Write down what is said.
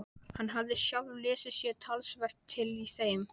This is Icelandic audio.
Hann hafði sjálfur lesið sér talsvert til í þeim.